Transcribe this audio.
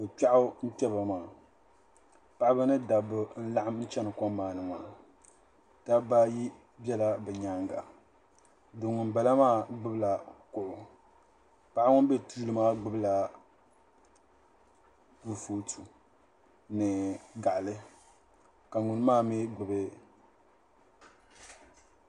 Niriba ayopɔi nyɛ ban bɛ kom ŋɔ puuni ŋɔ yili nyɛla din za be nyaaŋa ka tihi gili ba ti mali mori gba nimaa ni ka nyɛ zaɣ girin paɣ so be di puuni n nyɛ ŋun gbibi matiresi so gbib siliba ka kpana bɛ dipuuni